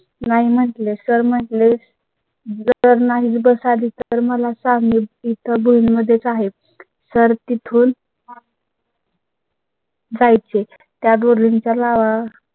नाही म्हटले तर मग ले. जर नाही बस आधीच तर मला सांग बुल मध्येच आहे सर तिथून . जायचे त्या बोरिंग च्या लावा